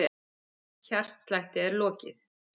Hjartslætti er lokið.